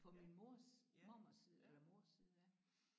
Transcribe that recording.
På min mors mormors side eller mors side ja